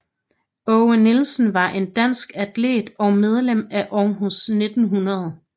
Aage Nielsen var en dansk atlet og medlem af Aarhus 1900